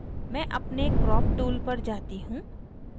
मैं अपने crop tool पर जाती हूँ